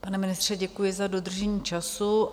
Pane ministře, děkuji za dodržení času.